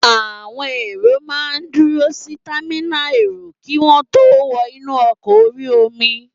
Àwọn èrò máa n dúró si támínà èrò kí wọ́n tó wọ inú ọkọ̀ orí-omi